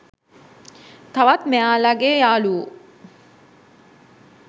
තවත් මෙයාලගේ යාළුවො